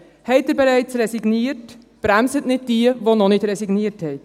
Haben Sie bereits resigniert, bremsen Sie nicht diejenigen, die noch nicht resigniert haben.